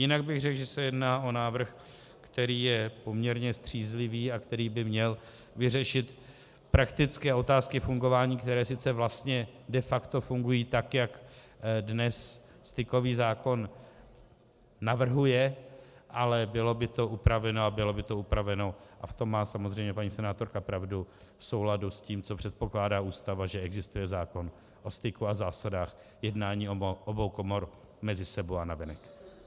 Jinak bych řekl, že se jedná o návrh, který je poměrně střízlivý a který by měl vyřešit prakticky otázky fungování, které sice vlastně de facto fungují tak, jak dnes stykový zákon navrhuje, ale bylo by to upraveno, a bylo by to upraveno, a v tom má samozřejmě paní senátorka pravdu, v souladu s tím, co předpokládá Ústava, že existuje zákon o styku a zásadách jednání obou komor mezi sebou a navenek.